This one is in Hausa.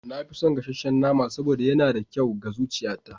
Na fi son gasasshen nama saboda yana da kyau ga zuciyata.